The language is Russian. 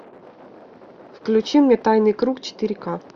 включи мне тайный круг четыре ка